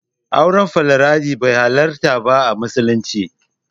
Auren Foliyandari bai halarta ba a musulunci.